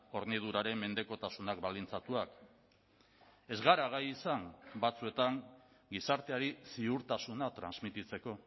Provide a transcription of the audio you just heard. horniduraren mendekotasunak baldintzatuak ez gara gai izan batzuetan gizarteari ziurtasuna transmititzeko